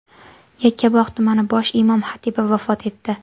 Yakkabog‘ tumani bosh imom-xatibi vafot etdi.